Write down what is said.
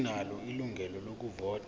asinalo ilungelo lokuvota